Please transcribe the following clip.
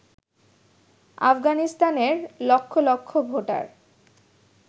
আফগানিস্তানের লক্ষ লক্ষ ভোটার